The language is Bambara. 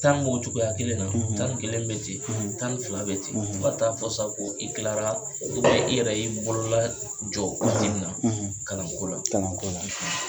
Tan b'o cogoya kelen na tan ni kelen be ten tan ni fila be ten. Fo ka taa fɔ sa ko i tilara i yɛrɛ y'i bolola jɔ waati min na kalan ko la. Kalan ko la.